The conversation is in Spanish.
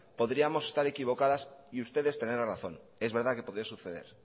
podríamos estar equivocadas y ustedes tener la razón es verdad que podría suceder